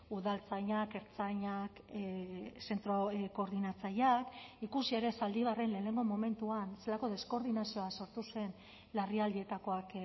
udaltzainak ertzainak zentro koordinatzaileak ikusi ere zaldibarren lehenengo momentuan zelako deskoordinazioa sortu zen larrialdietakoak